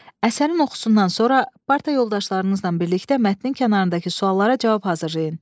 Əsərin oxusundan sonra parta yoldaşlarınızla birlikdə mətnin kənarındakı suallara cavab hazırlayın.